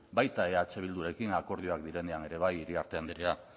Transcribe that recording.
baita eh bildurekin akordioak direnean ere bai iriarte andrea